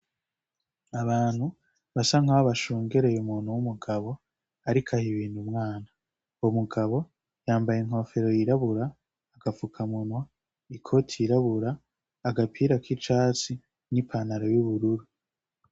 Ni abantu basa nk’aho bashungereye umuntu w’umugabo ariko aha ibintu umwana. Uwo mugabo yambaye inkofero yirabura, agafukamunwa, ikoti yirabura, agapira k’icatsi, n’ipantaro y’ubururu.